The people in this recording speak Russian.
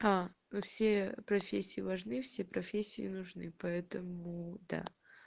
вы все профессии важны все профессии нужны поэтому да